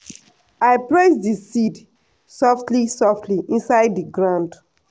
i press the seed softly softly inside the ground